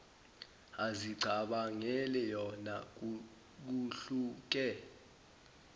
azicabangela yona kuhluke